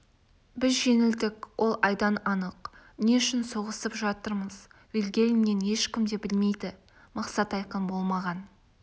біз жеңілдік ол айдан анық не үшін соғысып жатырмыз вильгельммен ешкім де білмейді мақсат айқын болмаған